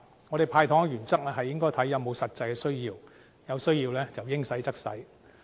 我們"派糖"的原則，是視乎是否有實際需要，有需要的時候，應派則派。